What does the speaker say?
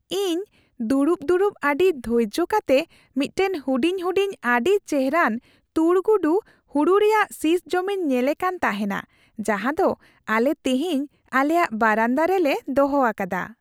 ᱤᱧ ᱫᱩᱲᱩᱵ ᱫᱩᱲᱩᱵ ᱟᱹᱰᱤ ᱫᱷᱳᱨᱡᱳ ᱠᱟᱛᱮ ᱢᱤᱫᱴᱟᱝ ᱦᱩᱰᱤᱧ ᱦᱩᱰᱤᱧ ᱟᱹᱰᱤ ᱪᱮᱨᱦᱟᱱ ᱛᱩᱲ ᱜᱩᱰᱩ ᱦᱩᱲᱩ ᱨᱮᱭᱟᱜ ᱥᱤᱥ ᱡᱚᱢᱤᱧ ᱧᱮᱞᱮ ᱠᱟᱱ ᱛᱟᱦᱮᱱᱟ ᱡᱟᱦᱟᱸᱫᱚ ᱟᱞᱮ ᱛᱤᱦᱤᱧ ᱟᱞᱮᱭᱟᱜ ᱵᱟᱨᱟᱱᱫᱟ ᱨᱮᱞᱮ ᱫᱚᱦᱚ ᱟᱠᱟᱫᱟ ᱾